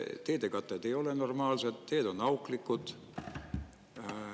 Teede katted ei ole normaalsed, teed on auklikud.